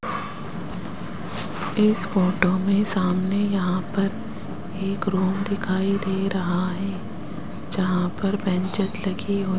इस फोटो में सामने यहां पर एक रूम दिखाई दे रहा है जहां पर बेंचेज लगी हु --